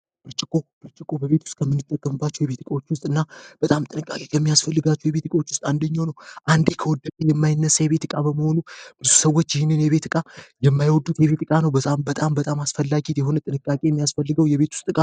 ብርችቆ በቤት ውስጥ ከምንጠቀምባቸው የቤትቃዎች ውስጥ እና በጣም ጥንቃለት የሚያስፈልጋቸው የቤትቃዎች ውስጥ አንድኛው ነው። አንዲ ከወደሚ የማይነሳ የቤትቃ በመሆኑ ብሱ ሰዎች ይህንን የቤትቃ የማይወዱት የቤትቃ ነው። በጣም በጣም አስፈላጊት የሁነ ጥንቃቄ የሚያስፈልገው የቤት ውስጥ ነው።